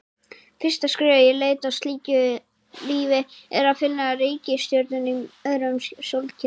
Fyrsta skrefið í leit að slíku lífi er að finna reikistjörnur í öðrum sólkerfum.